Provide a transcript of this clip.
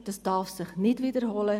Das darf sich nicht wiederholen.